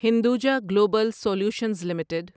Hinduja Global Solutions limited